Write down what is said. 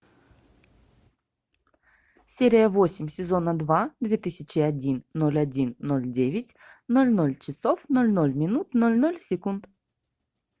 серия восемь сезона два две тысячи один ноль один ноль девять ноль ноль часов ноль ноль минут ноль ноль секунд